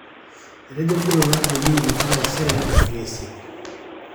etejo olkitok lai peyie ilotu taisere interview esiai